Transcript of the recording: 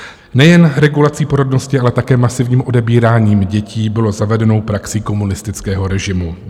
Nejen regulace porodnosti, ale také masivní odebírání dětí bylo zavedenou praxí komunistického režimu.